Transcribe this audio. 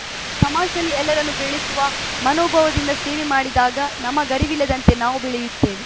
ಸಮಾಜದಲ್ಲಿ ಎಲ್ಲರನ್ನೂ ಬೆಳೆಸುವ ಮನೋಭಾವದಿಂದ ಸೇವೆ ಮಾಡಿದಾಗ ನಮಗರಿವಿಲ್ಲದಂತೆ ನಾವು ಬೆಳೆಯುತ್ತೇವೆ